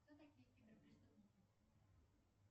кто такие киберпреступники